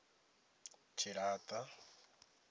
tshilata